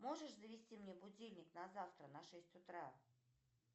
можешь завести мне будильник на завтра на шесть утра